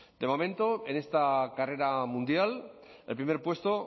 de momento en esta carrera mundial el primer puesto